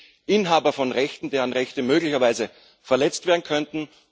Es gibt Inhaber von Rechten, deren Rechte möglicherweise verletzt werden könnten.